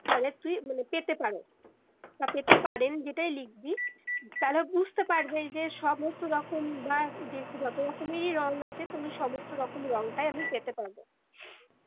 মানে তুই মানে পেতে পারো বা পেতে পারেন যেটাই লিখবি তারা বুঝতে পারবে যে সমস্ত রকম বা যত রকমেই রং আছে তুমি সমস্ত রকমেই রংটা আপনি পেতে পারবেন